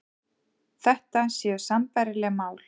Þetta séu sambærileg mál